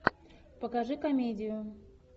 покажи комедию